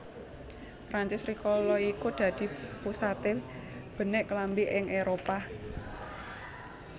Prancis rikala iku dadi pusate benik klambi ing Éropah